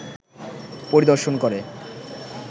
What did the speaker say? পরিদর্শন করে